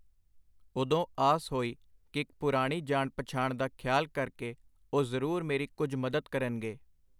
ਉਦੋਂ ਆਸ ਹੋਈ ਕਿ ਪੁਰਾਣੀ ਜਾਣ-ਪਛਾਣ ਦਾ ਖਿਆਲ ਕਰਕੇ ਉਹ ਜ਼ਰੂਰ ਮੇਰੀ ਕੁਝ ਮਦਦ ਕਰਨਗੇ.